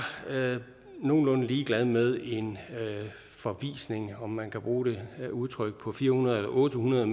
nogenlunde ligeglade med en forvisning om man kan bruge det udtryk på fire hundrede eller otte hundrede